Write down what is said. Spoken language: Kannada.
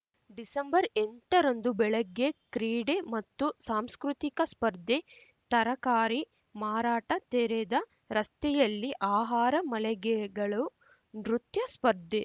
ಡಿಸೆಂಬರ್ಎಂಟರಂದು ಬೆಳಗ್ಗೆ ಕ್ರೀಡೆ ಮತ್ತು ಸಾಂಸ್ಕೃತಿಕ ಸ್ಪರ್ಧೆ ತರಕಾರಿ ಮಾರಾಟ ತೆರೆದ ರಸ್ತೆಯಲ್ಲಿ ಆಹಾರ ಮಳಿಗೆಗಳು ನೃತ್ಯ ಸ್ಪರ್ಧೆ